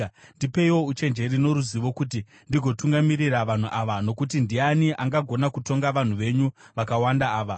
Ndipeiwo uchenjeri noruzivo, kuti ndigotungamirira vanhu ava, nokuti ndiani angagona kutonga vanhu venyu vakawanda ava?”